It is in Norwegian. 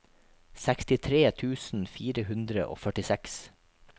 sekstitre tusen fire hundre og førtiseks